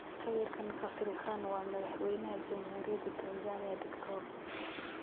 Sawirkan , kasrikan waa Madhaxweynah jamhuriyada Tanzania Diktor.